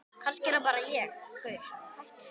Kannski er það bara ég?